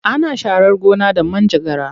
Ana sharar gona da manjagara.